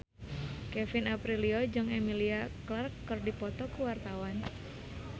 Kevin Aprilio jeung Emilia Clarke keur dipoto ku wartawan